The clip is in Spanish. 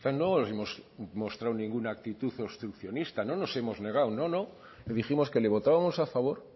no hemos mostrados ninguna actitud obstruccionista no nos hemos negado dijimos que le votábamos a favor